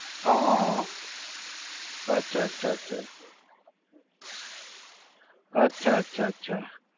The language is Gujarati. હા હા હા. અચ્છા અચ્છા અચ્છા. અચ્છા અચ્છા અચ્છા